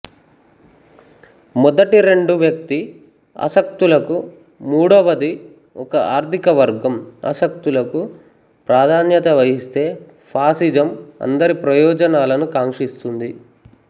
మొదటి రెండు వ్యక్తి అసక్తులకు మూడవది ఒక ఆర్దికవర్గం ఆసక్తులకు ప్రాధాన్యత వహిస్తే ఫాసిజం అందరి ప్రయోజనాలను కాంక్షిస్తుంది